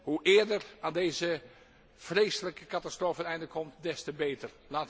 Hoe eerder aan deze vreselijke catastrofe een einde komt, des te beter.